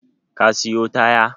Ka siyo taya?